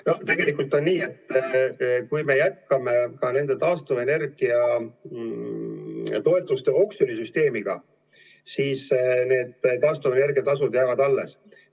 No tegelikult on nii, et kui me jätkame taastuvenergia toetuste oksjoni süsteemiga, siis taastuvenergia tasud jäävad alles.